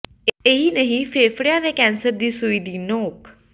ਇਹੀ ਨਹੀਂ ਫੇਫੜਿਆਂ ਦੇ ਕੈਂਸਰ ਦੀ ਸੂਈ ਦੀ ਨੋਕ